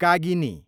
कागिनी